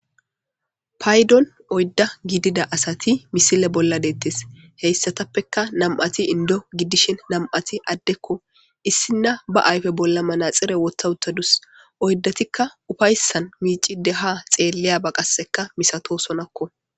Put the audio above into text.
paydon oydda gidida asati misile bolla deettes heyssatappeka nam7ati indo gidishin nam7ati addekko issinna ba ayfe bolla manaxire wotha uttadus oyddatikka ufayssan miici de ha xeelleya ba qasseka misato sonakko